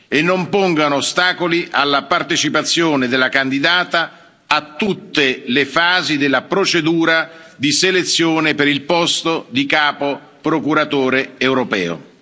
e non pongano ostacoli alla partecipazione della candidata a tutte le fasi della procedura di selezione per il posto di Procuratore capo europeo.